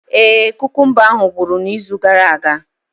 Ee e, kukumba ahu ngwuru na izu gara aga.